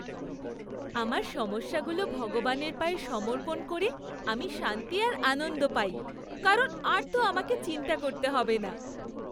আমার সমস্যাগুলো ভগবানের পায়ে সমর্পণ করে আমি শান্তি আর আনন্দ পাই, কারণ আর তো আমাকে চিন্তা করতে হবে না।